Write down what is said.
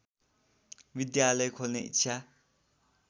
विद्यालय खोल्ने इच्छा